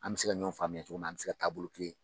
An bɛ se ka ɲɔgɔn faamuya cogo min na an bɛ se taabolo kelen